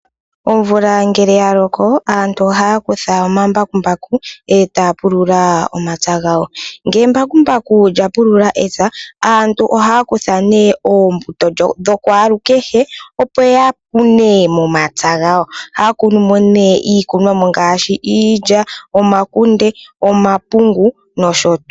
Omvula ngele yaloko aantu ohaya kutha omambakumbaku etaya pulula omapya gawo. Ngele embakumbaku lyapulula epya aantu ohaya kutha nee oombuto dhakwaalukehe opo ya kune momapya gawo. Ohaya kunu mo nee iikunomwa ngaashi, iilya, omakunde, omapungu noosho tuu.